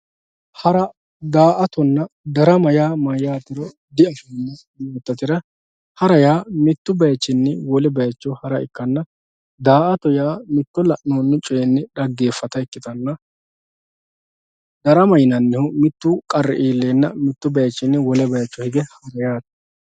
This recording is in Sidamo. hara daa"atonna darama yaa mayaatero di"afoomo yoototera hara yaa mittu bayiichinni wole bayiicho hara ikkanna daa"ato yaa mitto la'noonni coyiinni xageefata ikkitanna darama yineemohu mittu qarri iilleenna mittu bayiichinni wole bayiicho hige heerate.